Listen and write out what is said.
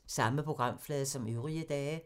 Samme programflade som øvrige dage